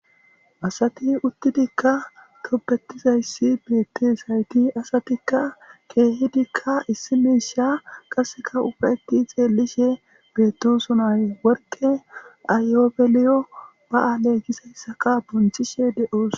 Asati uttidikka tobetizayssi beettes hayti asatikka keehidikka issimisha qaseka ubayti xeellishe beettosunae worqe ayobeliyo ba'aale gisayssaka bonchishe de'oos.